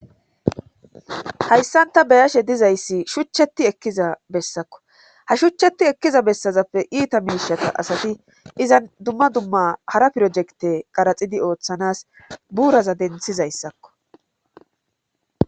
hayssanta beyashe dizayssi shuchcheti ekkiza bessakko ha shuchcheti ekkiza bessazappe iita miishata asati izan dumma dumma hara pirojekte qaraxidi ooththanas buuraza denthizayssakko